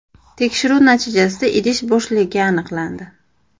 Tekshiruv natijasida idish bo‘shligi aniqlandi.